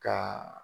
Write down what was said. Ka